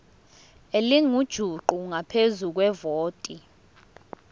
elingujuqu ngaphezu kwevoti